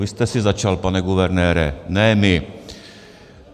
Vy jste si začal, pane guvernére, ne my.